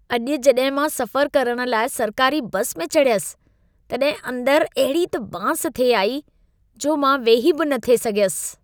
अॼु जॾहिं मां सफ़रु करण लाइ सरकारी बसि में चढ़ियसि तॾहिं अंदरि अहिड़ी त बांस थिए आई जो मां वेही बि न थिए सघियसि।